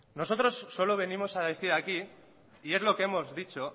nosotros solo venimos a decir aquí y es lo que hemos dicho